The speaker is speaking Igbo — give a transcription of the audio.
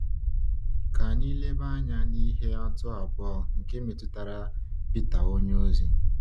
Ka anyị leba anya n’ihe atụ abụọ, nke metụtara Pita onyeozi.